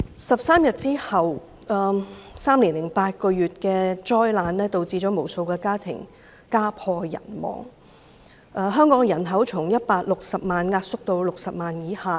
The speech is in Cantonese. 十三天之後 ，3 年零8個月的災難導致無數家庭家破人亡，香港人口從160萬萎縮至60萬以下。